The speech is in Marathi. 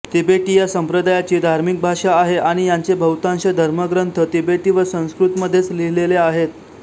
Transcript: तिबेटी या संप्रदायाची धार्मिक भाषा आहे आणि याचे बहुतांश धर्मग्रंथ तिबेटी व संस्कृतमध्येच लिहिलेले आहेत